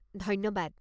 ধন্যবাদ।